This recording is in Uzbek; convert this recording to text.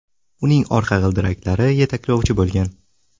Uning orqa g‘ildiraklari yetaklovchi bo‘lgan.